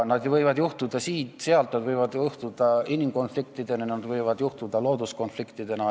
Nad võivad juhtuda siin või seal, võivad tekkida inimkonfliktid, võivad tekkida looduskonfliktid.